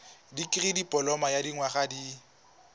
dikirii dipoloma ya dinyaga di